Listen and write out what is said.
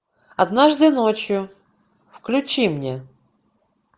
однажды ночью включи мне